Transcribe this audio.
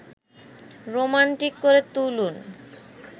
romantic করে তুলুন